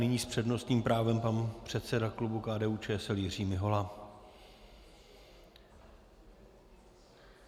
Nyní s přednostním právem pan předseda klubu KDU-ČSL Jiří Mihola.